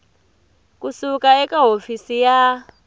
ku suka eka hofisi ya